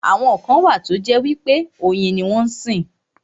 Àwọn kan wà tó jẹ́ pé oyin ni wọ́n sìn.